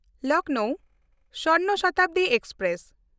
Lucknow Swarna Shatabdi express